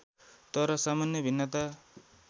तर सामान्य भिन्नता